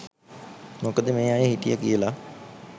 මොකද මේ අය හිටිය කියල